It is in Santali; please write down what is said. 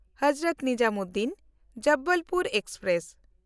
ᱦᱚᱡᱨᱚᱛ ᱱᱤᱡᱟᱢᱩᱫᱽᱫᱤᱱ–ᱡᱚᱵᱚᱞᱯᱩᱨ ᱮᱠᱥᱯᱨᱮᱥ